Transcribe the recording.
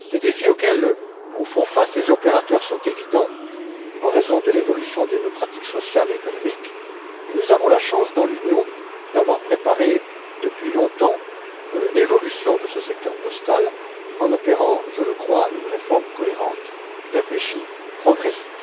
Les défis auxquels font face les opérateurs sont évidents en raison de l'évolution de nos pratiques sociales et économiques, mais nous avons la chance, dans l'Union, d'avoir préparé depuis longtemps l'évolution de ce secteur postal, en opérant, je le crois, une réforme cohérente, réfléchie, progressive.